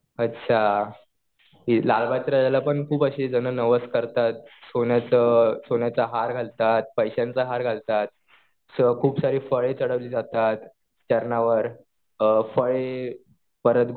अच्छा. हे लालबागच्या राजाला पण खूप असे जणं नवस करतात. सोन्याचं, सोन्याचा हार घालतात. पैशांचा हार घालतात. असं खूप सारी फळे चढवली जातात चरणावर. फळे परत